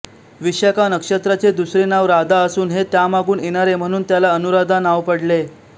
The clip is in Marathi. विशाखा नक्षत्राचे दुसरे नाव राधा असून हे त्यामागून येणारे म्हणून याला अनुराधा नाव पडले